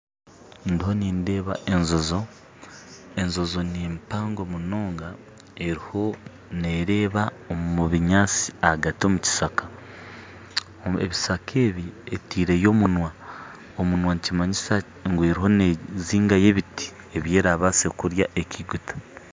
Ndiho nindeeba enjojo enjojo nimpango munonga eriyo nereeba omubinyatsi ahagati omukishaka ebishaka ebi eteireyo omunwa omunwa nikimanyisa eriyo nezingayo ebiti ebyerabaase kurya ekeiguta